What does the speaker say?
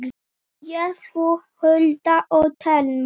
Ég, þú, Hulda og Telma.